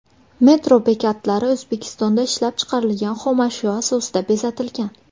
Metro bekatlari O‘zbekistonda ishlab chiqarilgan xomashyo asosida bezatilgan.